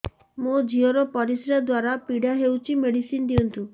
ମୋ ଝିଅ ର ପରିସ୍ରା ଦ୍ଵାର ପୀଡା ହଉଚି ମେଡିସିନ ଦିଅନ୍ତୁ